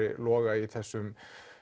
Loga í þessum